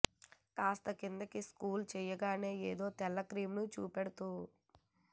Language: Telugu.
కాస్త కిందికి స్క్రోల్ చేయగానే ఏదో తెల్ల క్రీమ్ ని చూపెడుతూ